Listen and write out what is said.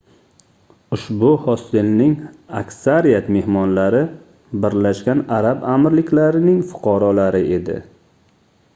ushbu hostelning aksariyat mehmonlari birlashgan arab amirliklarining fuqarolari edi